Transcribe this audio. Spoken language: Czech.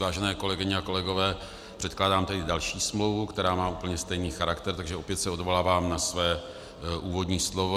Vážené kolegyně a kolegové, předkládám tedy další smlouvu, která má úplně stejný charakter, takže opět se odvolávám na své úvodní slovo.